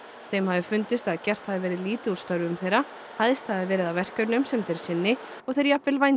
þeim hafi fundist að gert hafi verið lítið úr störfum þeirra hæðst hafi verið að verkefnum sem þeir sinni og þeir jafnvel vændir